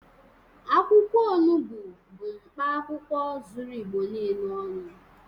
Akwụkwọ onubu bụ mkpaakwụkwọ zuru Igbo niile ọnụ